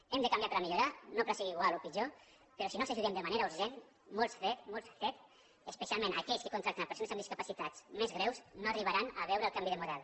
hem de canviar per a millorar no per a seguir igual o pitjor però si no els ajudem de manera urgent molts cet especialment aquells que contracten persones amb discapacitats més greus no arribaran a veure el canvi de model